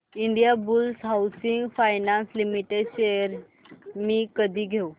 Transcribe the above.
Indiabulls housing finance limited shares मी कधी घेऊ